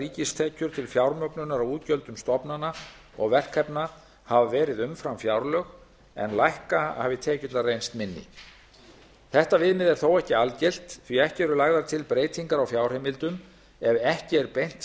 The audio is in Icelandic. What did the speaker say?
ríkistekjur til fjármögnunar á útgjöldum stofnana og verkefna hafa verið umfram fjárlög en lækka hafi tekjurnar reynst minni þetta viðmið er þó ekki algilt því ekki eru lagðar til breytingar á fjárheimildum ef ekki er beint